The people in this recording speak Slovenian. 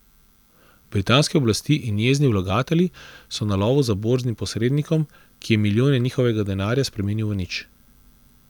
Britanske oblasti in jezni vlagatelji so na lovu za borznim posrednikom, ki je milijone njihovega denarja spremenil v nič.